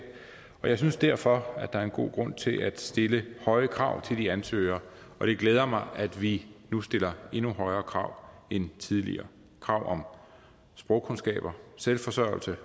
og jeg synes derfor at der er en god grund til at stille høje krav til de ansøgere det glæder mig at vi nu stiller endnu højere krav end tidligere krav om sprogkundskaber selvforsørgelse